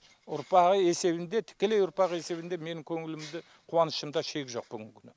ұрпағы есебінде тікелей ұрпағы есебінде менің көңілімде қуанышымда шек жоқ бүгінгі күні